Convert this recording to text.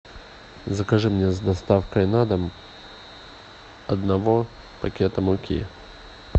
закажи мне с доставкой на дом одного пакета муки